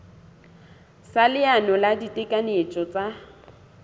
sa leano la ditekanyetso tsa